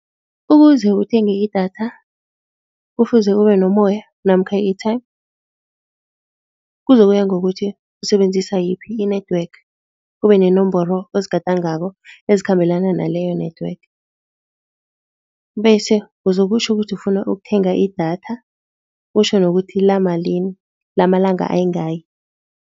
Ukuze uthenge idatha, kufuze ube nomoya namkha i-airtime. Kuzokuya ngokuthi usebenzisa yiphi i-network ube nenomboro ezikhambelana naleyo network bese uzokutjho ukuthi ufuna ukuthenga idatha, utjho nokuthi lamalini lamalanga ayingaki.